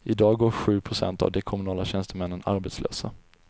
I dag går sju procent av de kommunala tjänstemännen arbetslösa.